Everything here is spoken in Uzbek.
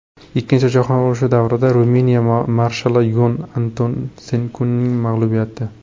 Ikkinchi jahon urushi davridagi Ruminiya marshali Yon Antoneskuning mag‘lubiyati.